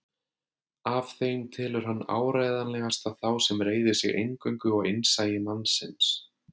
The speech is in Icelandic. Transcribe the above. Af þeim telur hann áreiðanlegasta þá sem reiðir sig eingöngu á innsæi mannsins.